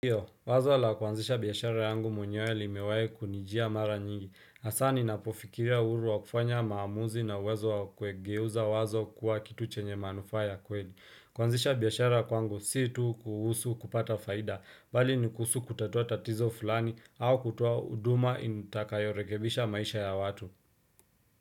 Iyo, wazo la kwanzisha biyashara yangu mwenyewe limewae kunijia mara nyingi. Asa ninapofikiria uhuru wa kufanya maamuzi na uwezo wa kawegeuza wazo kuwa kitu chenye manufa ya kweli. Kwanzisha biyashara kwangu si tu kuhusu kupata faida, bali ni kuhusu kutatua tatizo fulani au kutua uduma intakayorekebisha maisha ya watu.